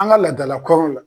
An ga ladala kɔɲɔn la